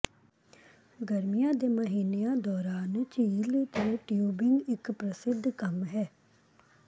ਗਰਮੀਆਂ ਦੇ ਮਹੀਨਿਆਂ ਦੌਰਾਨ ਝੀਲ ਤੇ ਟਿਊਬਿੰਗ ਇੱਕ ਪ੍ਰਸਿੱਧ ਕੰਮ ਹੈ